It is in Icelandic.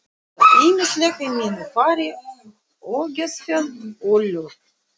Það er ýmislegt í mínu fari ógeðfellt og ljótt.